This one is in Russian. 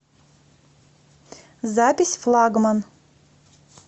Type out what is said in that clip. запись флагман